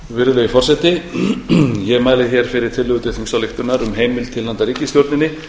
virðulegi forseti ég mæli hér fyrir tillögu til þingsályktunar um heimild til handa ríkisstjórninni að fullgilda fyrir íslands hönd